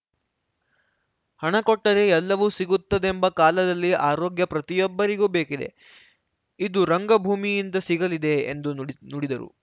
ಹಣ ಕೊಟ್ಟರೆ ಎಲ್ಲವೂ ಸಿಗುತ್ತದೆಂಬ ಕಾಲದಲ್ಲಿ ಆರೋಗ್ಯ ಪ್ರತಿಯೊಬ್ಬರಿಗೂ ಬೇಕಿದೆ ಇದು ರಂಗಭೂಮಿಯಿಂದ ಸಿಗಲಿದೆ ಎಂದು ನುಡಿ ನುಡಿದರು